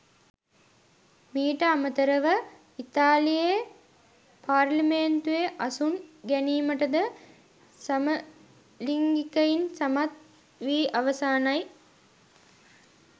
මීට අමතරව ඉතාලියේ පාර්ලිමේන්තුවේ අසුන් ගැනීමටද සමලිංගිකයින් සමත් වී අවසානයි.